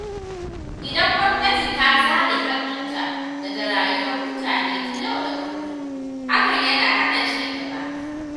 Idan gwamnati ta zare hannunta daga rayuwar mutane ta yau da kullum, hakan yana hana cigaba.